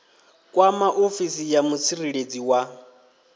kwama ofisi ya mutsireledzi wa